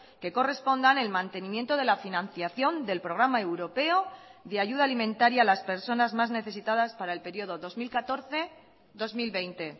que correspondan el mantenimiento de la financiación del programa europeo de ayuda alimentaria a las personas más necesitadas para el periodo dos mil catorce dos mil veinte